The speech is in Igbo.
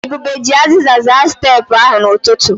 Ebube ji aziza zaa steepụ ahụ n'ụtụtụ.